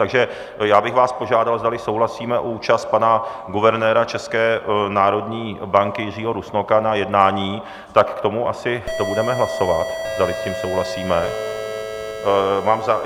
Takže já bych vás požádal, zdali souhlasíme s účastí pana guvernéra České národní banky Jiřího Rusnoka na jednání, tak k tomu asi to budeme hlasovat, zdali s tím souhlasíme.